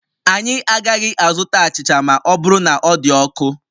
Anyị agaghị azụta achịcha ma ọ bụrụ na ọ dị ọkụ